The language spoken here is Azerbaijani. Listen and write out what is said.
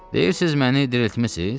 Deyirsiz məni diriltmisiz?